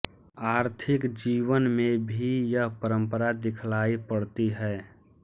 आर्थिक जीवन में भी यह परंपरा दिखलाई पड़ती है